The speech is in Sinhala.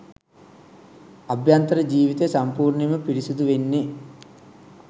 අභ්‍යන්තර ජීවිතය සම්පූර්ණයෙන්ම පිරිසිදු වෙන්නෙ.